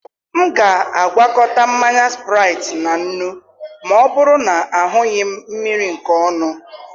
M ga-agwakọta mmanya Spraịtị na nnu ma ọ bụrụ na ahụghị m mmiri nke ọnụ.